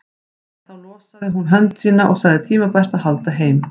En þá losaði hún hönd sína og sagði tímabært að halda heim.